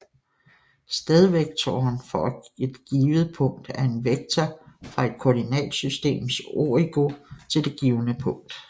Stedvektoren for et givet punkt er en vektor fra et koordinatsystems origo til det givne punkt